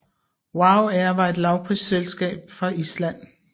WOW air var et lavprisflyselskab fra Island